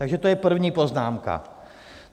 Takže to je první poznámka.